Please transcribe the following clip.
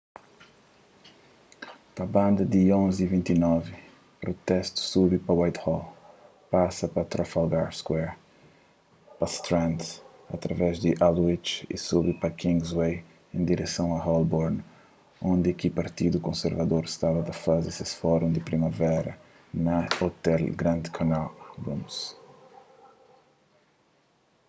pa banda di 11:29 protestu subi pa whitehall pasa pa trafalgar square pa strand através di aldwych y subi pa kingsway en direson a holborn undi ki partidu konservador staba ta faze ses fórun di primavera na ôtel grand connaught rooms